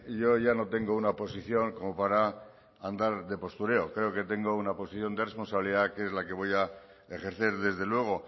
yo ya no tengo una posición como para andar de postureo creo que tengo una posición de responsabilidad que es la que voy a ejercer desde luego